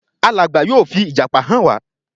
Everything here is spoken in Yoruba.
Alàgbà yóò fi ìjàpá hàn wá